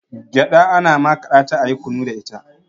gyaɗa ana makaɗa ta ayi kunu